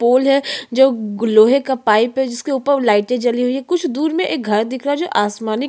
पोल है जो ग लोहे का पाइप है जिसके ऊपर लाइटे जली हुई है कुछ दूर में एक घर दिख रहा है जो आसमानी--